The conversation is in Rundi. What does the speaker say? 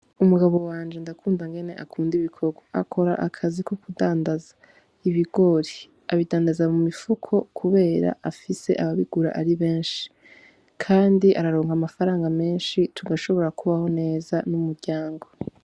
Umugabo wanje ndakunda ingene akunda ibikogwa. Akora akazi ko kudandaza ibigori. Abidandaza mu mifuko kuko afise ababigura ari benshi, kandi araronka amafaranga menshi tugashobora kubaho nk'umuryango.